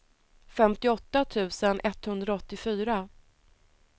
femtioåtta tusen etthundraåttiofyra